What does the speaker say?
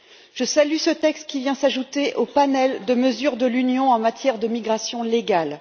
Je salue ce texte qui vient s'ajouter au panel de mesures de l'Union en matière de migration légale.